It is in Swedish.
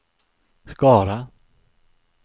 Skara